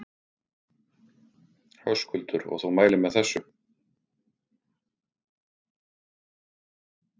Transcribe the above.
Höskuldur: Og þú mælir með þessu?